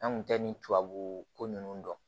An kun tɛ nin tubabuko ninnu dɔn